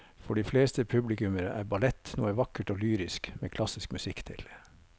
For de fleste publikummere er ballett noe vakkert og lyrisk med klassisk musikk til.